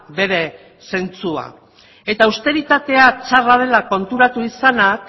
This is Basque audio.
bere zentzua eta austeritatea txarra dela konturatu izanak